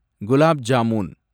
gulab jamun